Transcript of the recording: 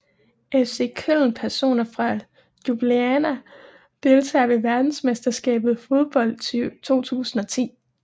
FC Köln Personer fra Ljubljana Deltagere ved verdensmesterskabet i fodbold 2010